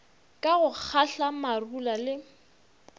ka go kgatla marula le